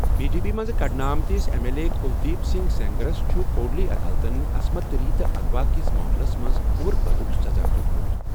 B J P منٛز کٔڈنہٕ آمتس M L A Kuldeep Singh سینگرَس چھُ کوڈلی عدالتَن عصمت دری تہٕ اغوا کِس معاملَس منٛز عمر قٲدُک سزا دِیُتمُت۔